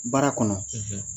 Baara kɔnɔ